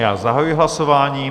Já zahajuji hlasování.